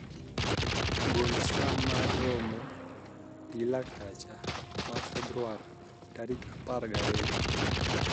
gol saa mar romo gi laktacha ma febuar tarik apargi ariyo